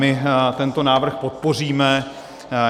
My tento návrh podpoříme.